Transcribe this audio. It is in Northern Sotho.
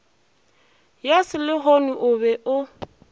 ya selehono o be o